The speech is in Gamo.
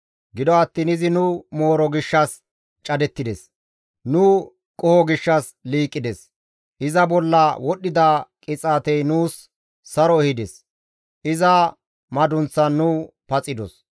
Gido attiin izi nu mooro gishshas cadettides; nu qoho gishshas liiqides; iza bolla wodhdhida qixaatey nuus saro ehides; iza madunththan nu paxidos.